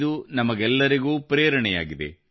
ಇದು ನಮಗೆಲ್ಲರಿಗೂ ಪ್ರೇರಣೆಯಾಗಿದೆ